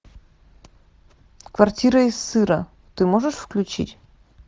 квартира из сыра ты можешь включить